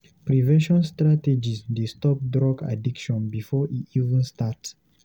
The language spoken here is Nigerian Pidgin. Prevention strategies dey stop drug addiction before e even start.